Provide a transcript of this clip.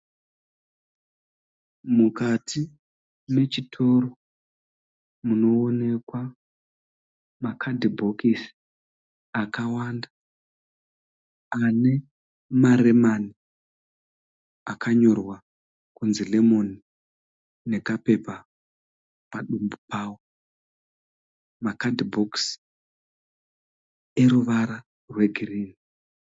Mukati mechitoro munoonekwa makadhibhokisi akawanda ane maremani akanyorwa kunzi lemon nekapepa padumbu pawo, makadhibhokisi eruvara rwegirini.